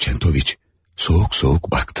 Çentoviç soğuk soğuk baktı.